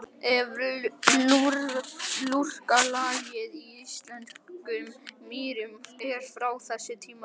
Efra lurkalagið í íslenskum mýrum er frá þessu tímabili.